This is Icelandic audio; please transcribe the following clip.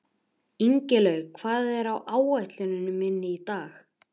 Ingilaug, hvað er á áætluninni minni í dag?